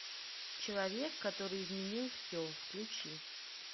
человек который изменил все включи